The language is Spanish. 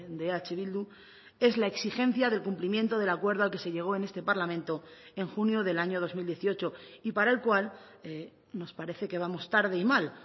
de eh bildu es la exigencia del cumplimiento del acuerdo al que se llegó en este parlamento en junio del año dos mil dieciocho y para el cual nos parece que vamos tarde y mal